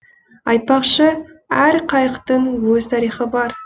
айтпақшы әр қайықтың өз тарихы бар